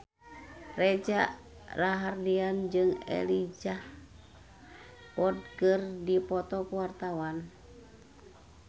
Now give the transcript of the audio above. Reza Rahardian jeung Elijah Wood keur dipoto ku wartawan